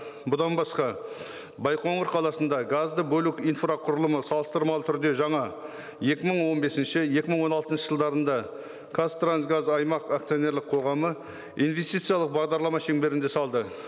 бұдан басқа байқоңыр қаласында газды бөлек инфрақұрылымы салыстырмалы түрде жаңа екі мың он бесінші екі мың он алтыншы жылдарында қазтрансгаз аймақ акционерлік қоғамы инвестициялық бағдарлама шеңберінде салды